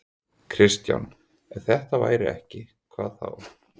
Kristján: Ef þetta væri ekki, hvað þá?